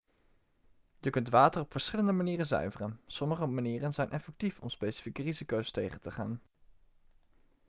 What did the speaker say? je kunt water op verschillende manieren zuiveren sommige manieren zijn effectief om specifieke risico's tegen te gaan